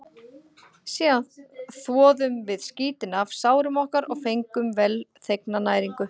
Síðan þvoðum við skítinn af sárum okkar og fengum velþegna næringu.